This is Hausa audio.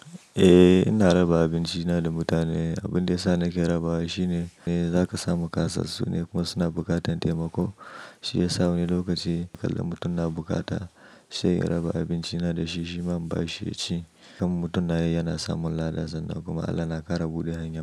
Eh ina raba abinci na da mutane. Abin da ya sa nake rabawa shine zaka samu ƙasas su ne kuma suna buƙatar taimako. Shi ya sa wani lokaci idan mutum na bukata sai in raba abinci na da shi. Shi ma bashi ci. Don mutum na yi yana samun lada dansa kuma Allah na ƙara buɗe hanya.